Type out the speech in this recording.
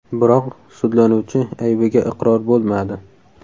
Biroq, sudlanuvchi aybiga iqror bo‘lmadi.